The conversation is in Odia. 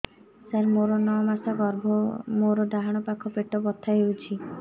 ସାର ମୋର ନଅ ମାସ ଗର୍ଭ ମୋର ଡାହାଣ ପାଖ ପେଟ ବଥା ହେଉଛି